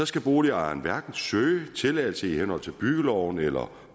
skal boligejerne hverken søge tilladelse i henhold til byggeloven eller